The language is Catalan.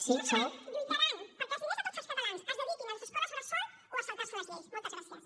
què faran lluitaran perquè els diners de tots els catalans es dediquin a les escoles bressol o a saltar se les lleis moltes gràcies